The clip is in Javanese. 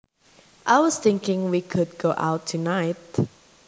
I was thinking we could go out tonight